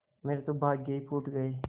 मेरे तो भाग्य ही फूट गये